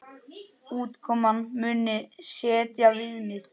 Útkoman muni setja viðmið.